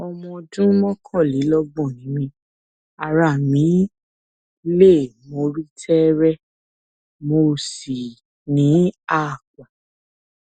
ọmọ ọdún mọkànlélọgbọn ni mí ara mi le mo rí tẹẹrẹ mo sì ní aápọn